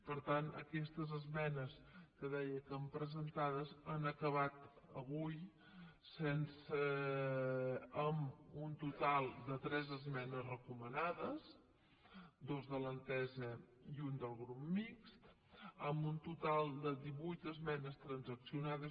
per tant aquestes esmenes que deia que han estat presentades han acabat avui en un total de tres esmenes recomanades dues de l’entesa i una del grup mixt amb un total de divuit esmenes transaccionades